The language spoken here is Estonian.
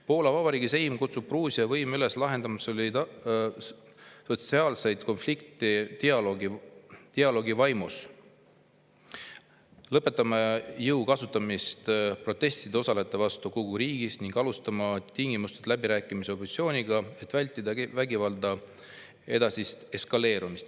Poola Vabariigi Seim kutsub Gruusia võime üles lahendama sotsiaalseid konflikte dialoogi vaimus, lõpetama jõu kasutamise protestidel osalejate vastu kogu riigis ning alustama tingimusteta läbirääkimisi opositsiooniga, et vältida vägivalda ja edasist eskaleerumist.